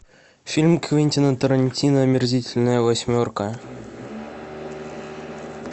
фильм квентина тарантино омерзительная восьмерка